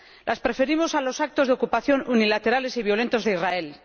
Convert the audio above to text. Lo preferimos a los actos de ocupación unilaterales y violentos de Israel.